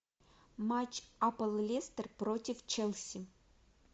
матч апл лестер против челси